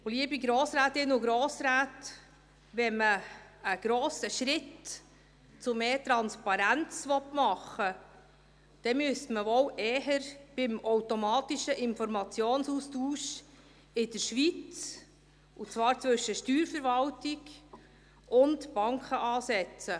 Liebe Grossrätinnen und Grossräte, wenn man einen grossen Schritt hin zu mehr Transparenz machen wollte, müsste man wohl eher beim automatischen Informationsaustausch in der Schweiz, und zwar zwischen Steuerverwaltung und Banken, ansetzen.